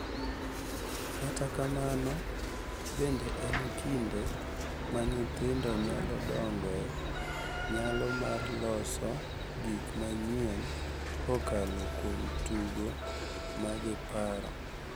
Kata kamano, bende en kinde ma nyithindo nyalo dongoe nyalo mar loso gik manyien kokalo kuom tugo ma giparo.